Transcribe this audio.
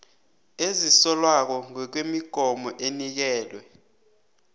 ezisolwako ngokwemigomo enikelwe